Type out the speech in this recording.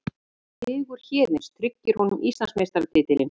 Sigur Héðins tryggir honum Íslandsmeistaratitilinn